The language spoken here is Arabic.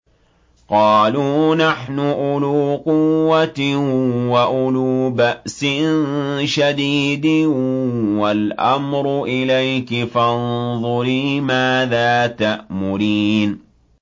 قَالُوا نَحْنُ أُولُو قُوَّةٍ وَأُولُو بَأْسٍ شَدِيدٍ وَالْأَمْرُ إِلَيْكِ فَانظُرِي مَاذَا تَأْمُرِينَ